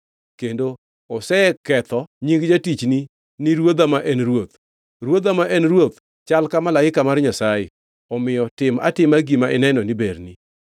Kendo oseketho nying jatichni ni ruodha ma en ruoth. Ruodha ma en ruoth chal ka malaika mar Nyasaye; omiyo tim atima gima ineno ni berni.